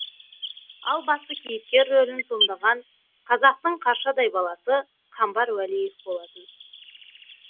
ал басты кейіпкер рөлін сомдаған қазақтың қаршадай баласы қамбар уәлиев болатын